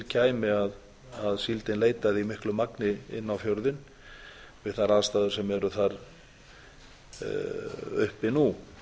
kæmi að síldin leitaði í miklu magni inn á fjörðinn við þær aðstæður sem eru þar uppi nú